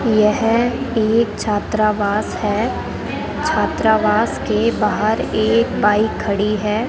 यह एक छात्रावास है छात्रावास के बाहर एक बाइक खड़ी है।